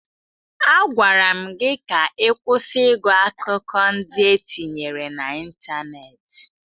Agwara m gị ka ị kwụsị ịgụ akụkọ ndị e tinyere n'ịntanetị!